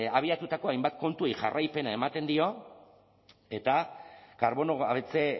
abiatutako hainbat kontuei jarraipena ematen di eta karbono gabetze